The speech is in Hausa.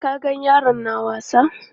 Ka ga yaran na wasa?